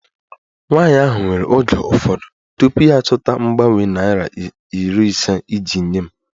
Nwanyị ahụ were oge ụfọdụ tupu ya achọta mgbanwe naira iri ise iji nye m